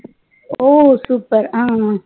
ஓ super